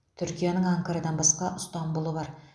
түркияның анкарадан басқа ыстанбұлы бар